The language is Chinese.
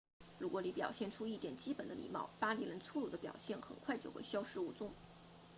如果你表现出一点基本的礼貌巴黎人粗鲁的表现很快就会消失无踪